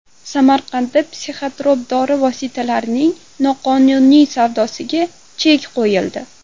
Samarqandda psixotrop dori vositalarining noqonuniy savdosiga chek qo‘yildi.